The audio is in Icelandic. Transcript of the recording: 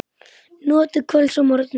Notið kvölds og morgna.